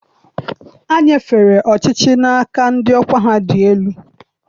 Ha nyefere ọchịchị n'aka ndị ọkwa ha dị elu.